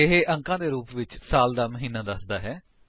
ਇਹ ਅੰਕੀ ਰੂਪ ਵਿੱਚ ਸਾਲ ਦਾ ਮਹੀਨਾ ਦੱਸਦਾ ਹੈ